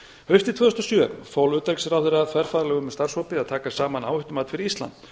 haustið tvö þúsund og sjö fól utanríkisráðherra þverfaglegum starfshópi að taka saman áhættumat fyrir ísland